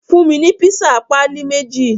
Fun mi ni pisa pali meji